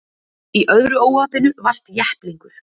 Í öðru óhappinu valt jepplingur